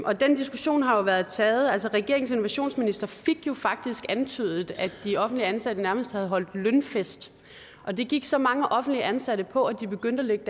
og den diskussion har jo været taget regeringens innovationsminister fik jo faktisk antydet at de offentligt ansatte nærmest havde holdt lønfest og det gik så mange offentligt ansatte på at de begyndte at lægge